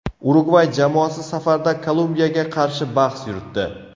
Urugvay jamoasi safarda Kolumbiyaga qarshi bahs yuritdi.